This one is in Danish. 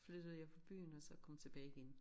Flyttede jeg fra byen og er så kommet tilbage igen